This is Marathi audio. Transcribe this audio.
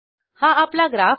हा आपला ग्राफ आहे